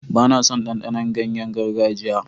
Ba na son ɗanɗanon ganyayen gargajiya.